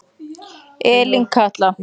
Elín Katla.